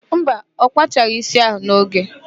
Mba, ọ kpachaghị ísí ahụ n'oge.